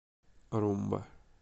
румба